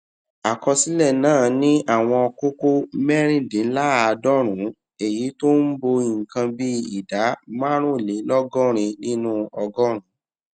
àkọsílẹ náà ní àwọn kókó mérìndínláàádọrùnún èyí tó ń bo nǹkan bí ìdá márùnlélógórin nínú ọgọrùnún